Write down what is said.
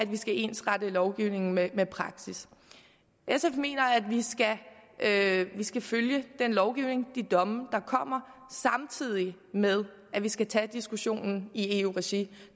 vi skal ensrette lovgivningen med praksis sf mener at vi skal følge den lovgivning de domme der kommer samtidig med at vi skal tage diskussionen i eu regi